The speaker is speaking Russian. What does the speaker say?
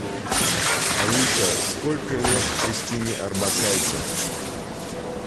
алиса сколько лет кристине орбакайте